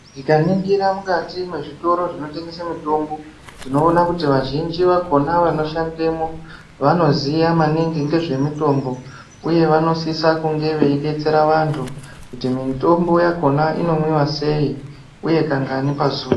Tikaningira mukati mwezvitoro zvinotengesa mitombo, tinoona kuti vazhinji vakhona vanoshandemwo vanoziya maningi ngezvemitombo. Uye vanosise kunge veidetserwa antu kuti mitombo yakhona inomwiwa sei? Uye kangani pazuwa?